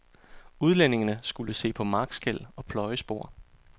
Udlændingene skulle se på markskel og pløjespor.